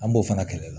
An b'o fana kɛlɛ